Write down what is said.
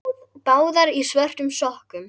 Báðar í svörtum sokkum.